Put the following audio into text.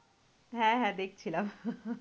হ্যাঁ হ্যাঁ দেখছিলাম।